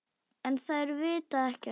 En þær vita ekkert.